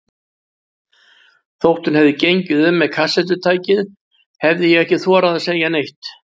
Þótt hún hefði gengið um með kassettutækið, hefði ég ekki þorað að segja neitt.